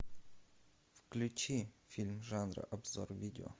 включи фильм жанра обзор видео